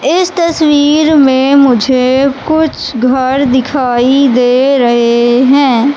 इस तस्वीर में मुझे कुछ घर दिखाई दे रहे हैं।